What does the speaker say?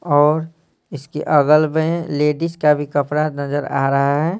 और इसके अगल में लेडीज का भी कपड़ा नजर आ रहा है।